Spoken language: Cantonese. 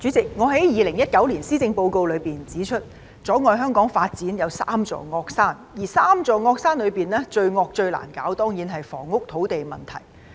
主席，我在2019年施政報告辯論中指出，阻礙香港發展有三座"惡山"，而三座"惡山"之中，最惡、最難處理的當然是房屋和土地的問題。